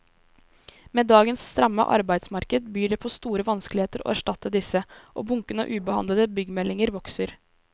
Med dagens stramme arbeidsmarked byr det på store vanskeligheter å erstatte disse, og bunken av ubehandlede byggemeldinger vokser.